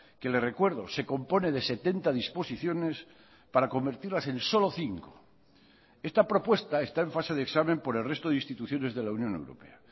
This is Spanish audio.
que le recuerdo se compone de setenta disposiciones para convertirlas en solo cinco esta propuesta está en fase de examen por el resto de instituciones de la unión europea